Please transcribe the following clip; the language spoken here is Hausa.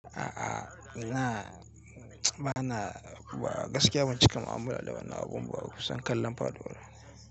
A'a, ina bana ba gaskiya ban cika mu'amala da wani abun ba kusan kallon paɗuwar.